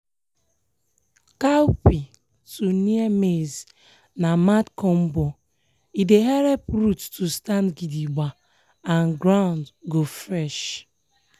cowpea to near maize na mad combo e helep root to stand gidigba and ground go fresh.